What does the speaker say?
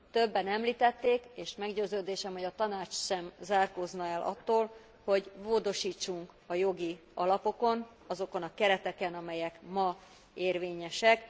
Többen említették, és meggyőződésem, hogy a Tanács sem zárkózna el attól, hogy módosítsunk a jogi alapokon, azokon a kereteken, amelyek ma érvényesek.